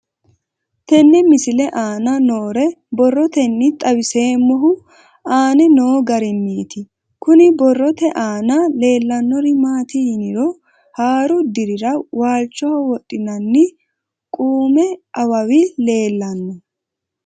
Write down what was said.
Tenne misile aana noore borroteni xawiseemohu aane noo gariniiti. Kunni borrote aana leelanori maati yiniro haaru dirirra walchoho wodhinanni duume awawi leelanno.